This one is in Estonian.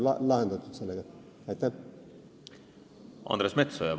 Andres Metsoja, palun!